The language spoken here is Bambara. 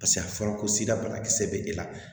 Paseke a fɔra ko sira banakisɛ be e la